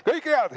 Kõike head!